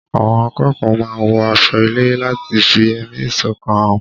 Àwọn akẹ́kọ̀ọ́ máa ń wọ aṣo ilé láti fi ẹ̀mí ìṣọ̀kan hàn